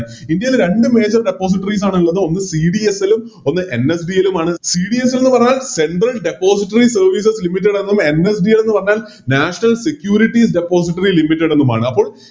ഇടയിൽ രണ്ട് Major depositories ആണിള്ളത് ഒന്ന് CDSL ലും ഒന്ന് NSDL ലുമാണ് CDSL എന്ന് പറഞ്ഞാൽ Central depositories services limited എന്നും NSDL അന്ന് പറഞ്ഞാൽ National securities depositories limited എന്നുമാണ്